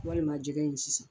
Walima jɛgɛ in sisan.